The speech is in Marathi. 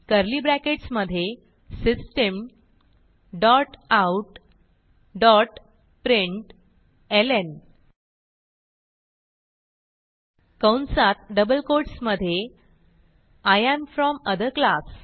कर्ली ब्रॅकेट्स मधे system dot out dot println कंसातdouble कोट्स मधे I am from other class